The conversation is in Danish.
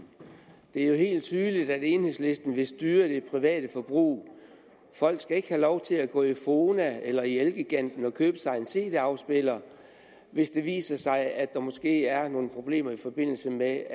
det er jo helt tydeligt at enhedslisten vil styre det private forbrug folk skal ikke have lov til at gå i fona eller i elgiganten og købe sig en cd afspiller hvis det viser sig at der måske er nogle problemer i forbindelse med at